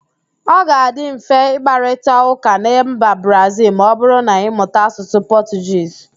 Ọ ga-adị mfe ịkparịtaụ́ká na mba Brazịl ma ọbụrụ na-ịmụta Asụsụ Pọtụgiz